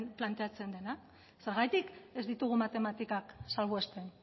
planteatzen dena zergatik ez ditugu matematikak salbuesten